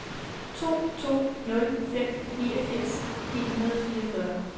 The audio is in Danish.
to to nul fem niogfirs ni hundrede og fireogfyrre